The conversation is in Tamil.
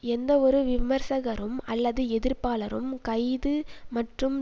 எந்தவொரு விமர்சகரும் அல்லது எதிர்ப்பாளரும் கைது மற்றும்